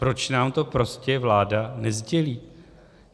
Proč nám to prostě vláda nesdělí?